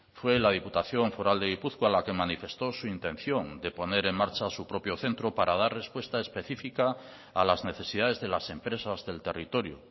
fue la diputación foral de gipuzkoa la que manifestó su intención de poner en marcha su propio centro para dar respuesta específica a las necesidades de las empresas del territorio